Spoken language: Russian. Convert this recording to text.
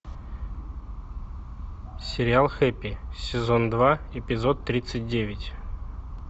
сериал хэппи сезон два эпизод тридцать девять